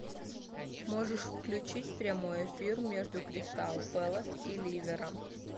можешь включить прямой эфир между кристал пэлас и ливером